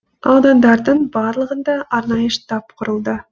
аудандардың барлығында арнайы штаб құрылды